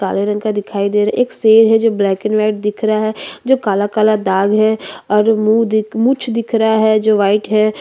काले रंग का दिखाई दे रहा एक शेर है जो ब्लैक एंड व्हाइट दिख रहा है जो काला-काला दाग है और मुँह दिख मुछ दिख रहा है जो व्हाइट --